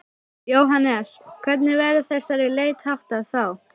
Jóhannes: Hvernig verður þessari leit háttað þá?